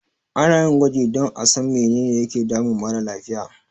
Ana yin gwaji don a san menene yake damun mara lafiya.